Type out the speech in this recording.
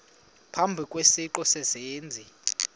phambi kwesiqu sezenzi